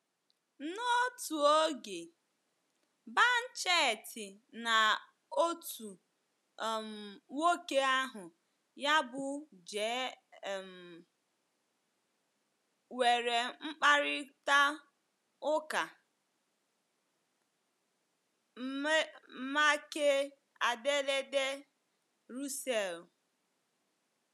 N’otu oge, Banchetti na otu um nwoke aha ya bụ J um nwere mkparịta ụka make ederede Russell.